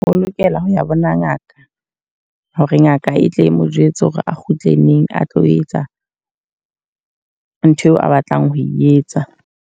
O lokela ho ya bona ngaka. Ho re ngaka e tle e mo jwetse hore a kgutle neng a tlo etsa ntho eo a batlang ho e etsa.